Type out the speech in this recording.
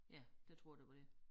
Ja det tror jeg det var det